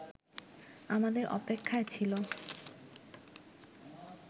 আমাদের অপেক্ষায় ছিল